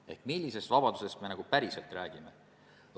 Nii et millisest vabadusest me nagu päriselt räägime?